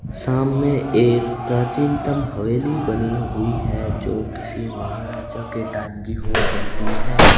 सामने एक प्राचीनतम हवेली बनी हुए है जो किसी महराजा के टाइम हो सकती है।